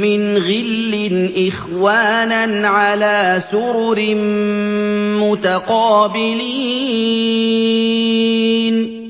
مِّنْ غِلٍّ إِخْوَانًا عَلَىٰ سُرُرٍ مُّتَقَابِلِينَ